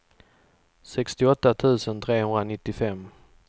sextioåtta tusen trehundranittiofem